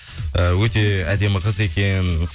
э өте әдемі қыз екен